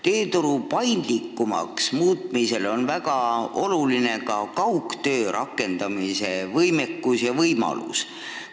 Tööturu paindlikumaks muutmisel on väga olulised kaugtöö rakendamise võimalused.